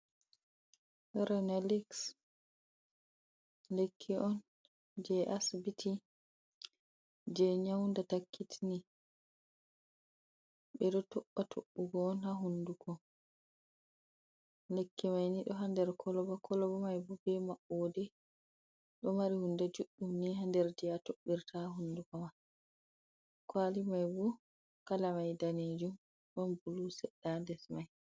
"Ronelix" lekki on jey Asibiti, jey nyawndata "kitni", ɓe ɗo toɓɓa toɓɓugo on ha hunnduko. Lekkimay ni ɗo ha nder "kolba". "Kolba" may bo bee maɓɓoode, ɗo mari huunde juɗɗum ni ha nder jey a toɓɓirta ha hunduko ma. "Kwaali" may bo "kala" may daneejum, ɗon "buluu" seɗɗa ha nder may.